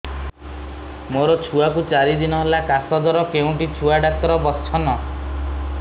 ମୋ ଛୁଆ କୁ ଚାରି ଦିନ ହେଲା ଖାସ ଜର କେଉଁଠି ଛୁଆ ଡାକ୍ତର ଵସ୍ଛନ୍